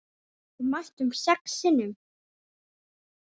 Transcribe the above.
Við mættum sex sinnum.